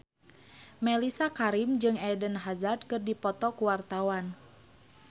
Mellisa Karim jeung Eden Hazard keur dipoto ku wartawan